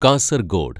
Kasaragod